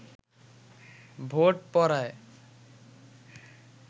vote পড়ায়